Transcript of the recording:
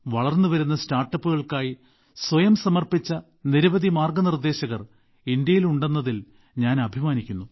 വളർന്നുവരുന്ന സ്റ്റാർട്ടപ്പുകൾക്കായി സ്വയം സമർപ്പിച്ച നിരവധി മാർഗനിർദ്ദേശകർ ഇന്ത്യയിൽ ഉണ്ടെന്നതിൽ ഞാൻ അഭിമാനിക്കുന്നു